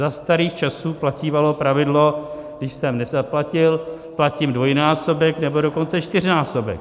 Za starých časů platívalo pravidlo, když jsem nezaplatil, platím dvojnásobek, nebo dokonce čtyřnásobek.